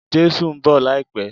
Jésù ń bọ̀ láìpẹ́.